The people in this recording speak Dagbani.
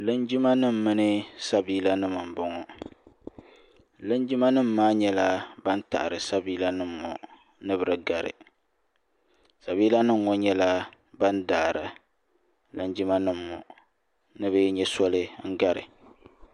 linjima nim mini sabiila nim n boŋo linjima nim maa nyɛla ban taɣari sabiila nim ŋo ni bi di gari sabiila nim ŋo nyɛla ban daari Linjima nim ŋo ni bi nyɛ Soli gari